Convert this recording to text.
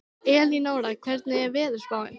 Elínora, hvernig er veðurspáin?